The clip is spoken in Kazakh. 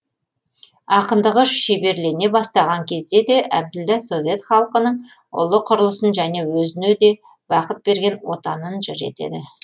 ақындығы шеберлене бастаған кезде де әбділда совет халқының ұлы құрылысын және өзіне де бақыт берген отанын жыр етеді